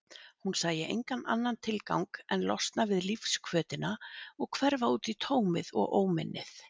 Hún sæi engan annan tilgang en losna við lífshvötina og hverfa útí tómið og óminnið.